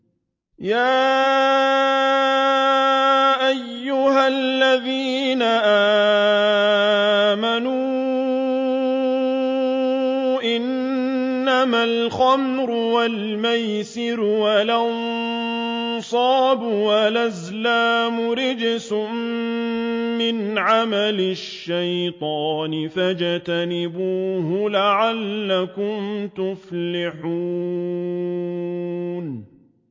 يَا أَيُّهَا الَّذِينَ آمَنُوا إِنَّمَا الْخَمْرُ وَالْمَيْسِرُ وَالْأَنصَابُ وَالْأَزْلَامُ رِجْسٌ مِّنْ عَمَلِ الشَّيْطَانِ فَاجْتَنِبُوهُ لَعَلَّكُمْ تُفْلِحُونَ